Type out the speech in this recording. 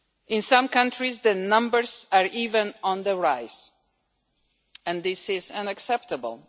In some countries the numbers are even on the rise, and this is unacceptable.